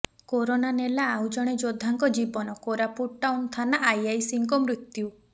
corona ନେଲା ଆଉ ଜଣେ ଯୋଦ୍ଧାଙ୍କ ଜୀବନ କୋରାପୁଟ ଟାଉନ ଥାନା ଆଇଆଇସିଙ୍କ ମୃତ୍ୟୁ